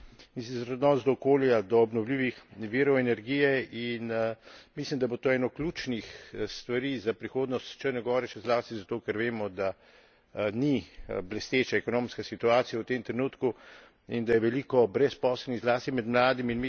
In sicer odnos do okolja, do obnovljivih virov energije in mislim, da bo to eno ključnih stvari za prihodnost Črne gore, še zlasti zato ker vemo, da ni blesteča ekonomska situacija v tem trenutku in da je veliko brezposelnih, zlasti med mladimi.